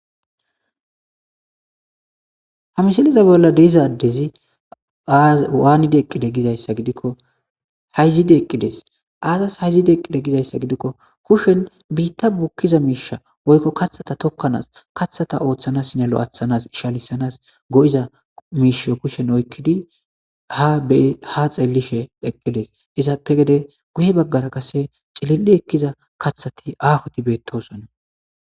ha misiliza bolla de'izaadezi aawaanide eqqide gizayssa gidikko hayzide eqqides aazas hayzide eqqide gizayssa gidikko kushen biitta bukkiza miisha woykko kathata tokkanaas kathata ooththanas nelo athanas ishalisanas go7iza miisho kushen oykkidi ha xeellishe pheqqides izaappe gede guye baggata kase cililli ekkiza kathati aahoti beettosonna